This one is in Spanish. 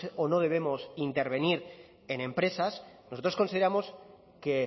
o no debemos intervenir en empresas nosotros consideramos que